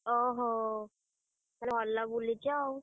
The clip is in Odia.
ଓହୋ! ଭଲ ବୁଲିଚ ଆଉ।